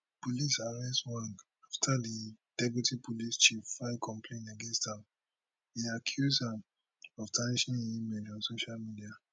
police arrest ojwang afta di deputy police chief file complain against am e accuse am of tarnishing im name on social media